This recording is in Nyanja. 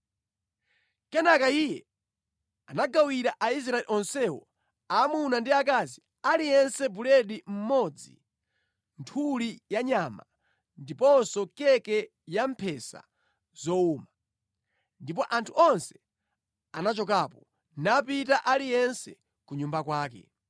Kenaka iye anagawira Aisraeli onsewo, aamuna ndi aakazi, aliyense buledi mmodzi, nthuli yanyama, ndiponso keke yamphesa zowuma. Ndipo anthu onse anachokapo, napita aliyense ku nyumba kwake.